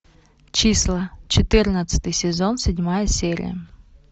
числа четырнадцатый сезон седьмая серия